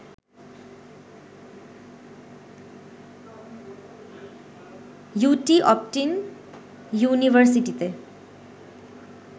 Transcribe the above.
UT অপটিন ইউনিভারসিটিতে